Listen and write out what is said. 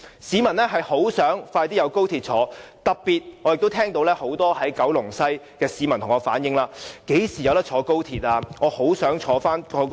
市民十分希望可以在短期內乘搭高鐵，特別是很多居住於九龍西的市民向我反映，詢問何時能夠乘搭高鐵。